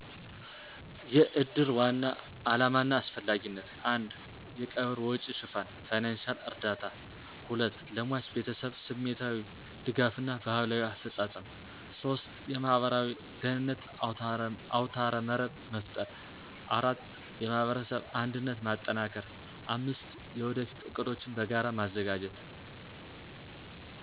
**የእድር ዋና ዓላማና አስፈላጊነት:** 1. የቀብር ወጪ ሽፋን (ፋይናንሺያል እርዳታ) 2. ለሟች ቤተሰብ ስሜታዊ ድጋፍ እና ባህላዊ አፈፃፀም 3. የማህበራዊ ደህንነት አውታረመረብ መፍጠር 4. የማህበረሰብ አንድነት ማጠናከር 5. የወደፊት ዕቅዶችን በጋራ ማዘጋጀት